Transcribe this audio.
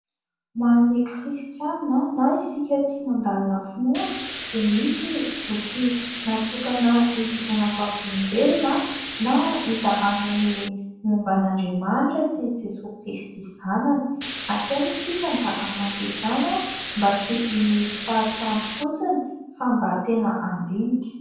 Ho an'ny kristianina na isika tia mandalina finoana dia misy ny boky natokana hijoroana vavolom-belona na hizarana ny momba an'Andriamanitra sy Jesosy Kristy zanany. Asaina isika mba hamaky izany, mba tsy hinohino fahatany fotsiny, fa mba tena handinika.